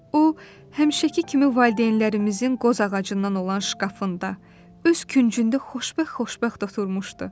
O həmişəki kimi valideynlərimizin qoz ağacından olan şkafında öz küncündə xoşbəxt-xoşbəxt oturmuşdu.